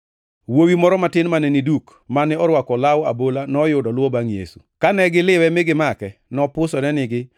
Wuowi moro matin mane ni duk, mane orwako law abola, noyudo luwo bangʼ Yesu. Kane gi liwe mi gimake, nopusore nigi,